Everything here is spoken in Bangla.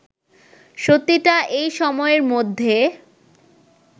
সত্যিটা এই সময়ের মধ্যে